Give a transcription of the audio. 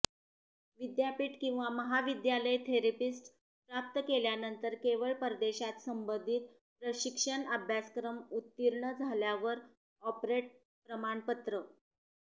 विद्यापीठ किंवा महाविद्यालय थेरपिस्ट प्राप्त केल्यानंतर केवळ परदेशात संबंधित प्रशिक्षण अभ्यासक्रम उत्तीर्ण झाल्यावर ऑपरेट प्रमाणपत्र